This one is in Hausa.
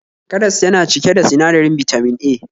Karas yana cike da sinadarin Bitamin A